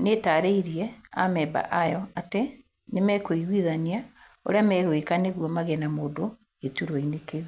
nĩ ĩtaarĩirie amemba ayo atĩ nĩ mekũiguithania ũrĩa megwĩka nĩguo magĩe na mũndũ gĩtũrwa inĩ kĩu.